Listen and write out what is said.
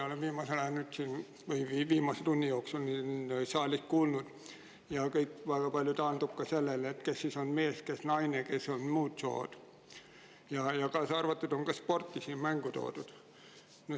Olen siin saalis viimase tunni jooksul kuulnud päris huvitavaid diskussioone ja kõik taandub väga palju sellele, kes on mees, kes naine, kes muust soost, ja ka sporti on siin mängu toodud.